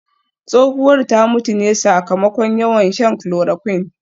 Tsohuwar ta mutu ne sakamakon yawan shan chloroquine